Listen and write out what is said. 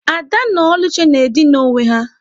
Ada na Oluchi na-edina onwe ha.